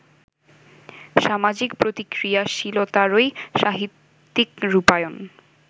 সামাজিক প্রতিক্রিয়াশীলতারই সাহিত্যিক রূপায়ণ